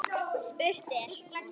Spurt er?